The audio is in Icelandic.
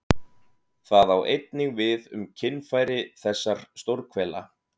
Það á einnig við um kynfæri þessar stórhvela.